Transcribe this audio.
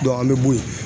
an bɛ bɔ yen